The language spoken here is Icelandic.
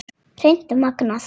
Hreint magnað!